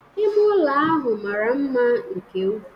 Ime ụlọ ahụ mara mma nke ukwuu